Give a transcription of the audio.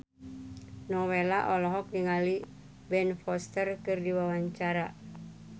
Nowela olohok ningali Ben Foster keur diwawancara